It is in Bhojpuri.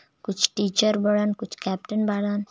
कुछ टीचर बाणन कुछ कैप्टन बाणन.